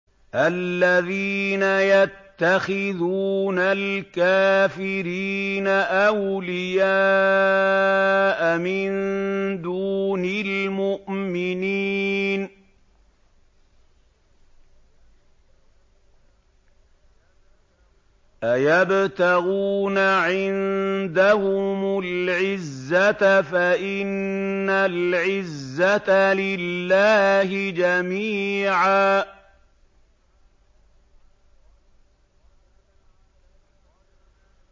الَّذِينَ يَتَّخِذُونَ الْكَافِرِينَ أَوْلِيَاءَ مِن دُونِ الْمُؤْمِنِينَ ۚ أَيَبْتَغُونَ عِندَهُمُ الْعِزَّةَ فَإِنَّ الْعِزَّةَ لِلَّهِ جَمِيعًا